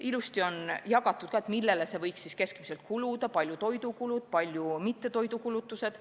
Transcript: Ilusti on jagatud ka, millele see raha võiks keskmiselt kuluda, kui suured on toidukulud ja kui suured mittetoidukulud.